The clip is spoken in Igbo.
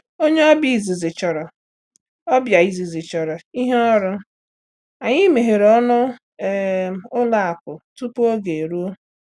Onye ọbịa izizi chọrọ ọbịa izizi chọrọ ihe ọrụ, anyị meghere ọnụ um ụlọ akụ tupu oge eruo.